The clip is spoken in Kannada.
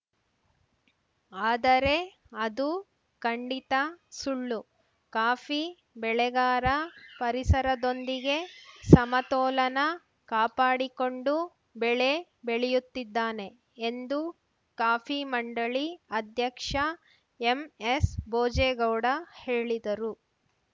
ಆದರೆ ಅದು ಖಂಡಿತ ಸುಳ್ಳು ಕಾಫಿ ಬೆಳೆಗಾರ ಪರಿಸರದೊಂದಿಗೆ ಸಮತೋಲನ ಕಾಪಾಡಿಕೊಂಡು ಬೆಳೆ ಬೆಳೆಯುತ್ತಿದ್ದಾನೆ ಎಂದು ಕಾಫಿ ಮಂಡಳಿ ಅಧ್ಯಕ್ಷ ಎಂಎಸ್‌ ಭೋಜೇಗೌಡ ಹೇಳಿದರು